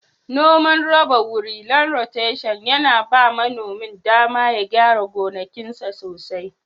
Noman rarraba wuri/ lan roteshin yana ba manomin dama ya gyara gonakinsa sosai.